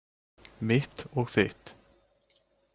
Mitt og þitt.